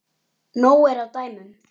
Nóg er af dæmum.